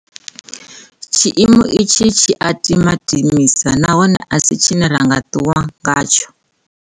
Tshiimo itshi tshi a tima timisa nahone a si tshine ra nga ṱuwa ngatsho.